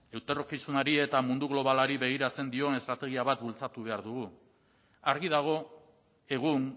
etorkizunari eta mundu globalari begiratzen dion estrategia bat bultzatu behar dugu argi dago egun